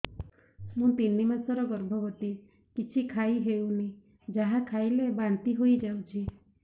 ମୁଁ ତିନି ମାସର ଗର୍ଭବତୀ କିଛି ଖାଇ ହେଉନି ଯାହା ଖାଇଲେ ବାନ୍ତି ହୋଇଯାଉଛି